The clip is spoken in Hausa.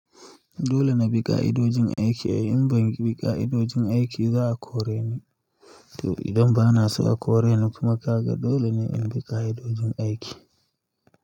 Dole na bi ƙa'idojin aiki. In ban bi ƙa'idojin aiki ba a kore ni. To idan ba na so a kore ni kuma ka ga dole ne in biƙa ido jin aiki.